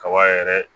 Kaba yɛrɛ